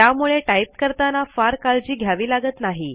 त्यामुळे टाईप करताना फार काळजी घ्यावी लागत नाही